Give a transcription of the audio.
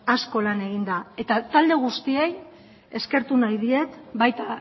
asko lan egin da eta talde guztiei eskertu nahi diet baita